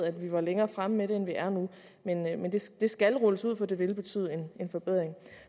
at vi var længere fremme med det end vi er nu men det skal rulles ud for det vil betyde en forbedring